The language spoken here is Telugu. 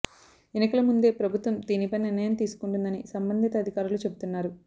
ఎన్నికల ముందే ప్రభుత్వం దీనిపై నిర్ణయం తీసుకుంటుందని సంబంధిత అధికారులు చెబుతున్నారు